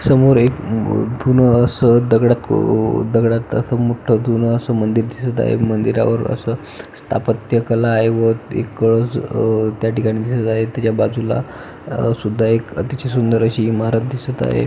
समोर एक अ जुनं असं दगडा को दगडात असं मोठ्ठ जुनं असं मंदिर दिसत आहे मंदिरावर असं स्थापत्य कला आहे व एक कळस अ त्या ठिकाणी दिसत आहे त्याच्या बाजूला अ सुद्धा एक तेची सुंदर अशी इमारत दिसत आहे.